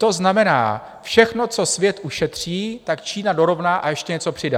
To znamená, všechno, co svět ušetří, tak Čína dorovná a ještě něco přidá.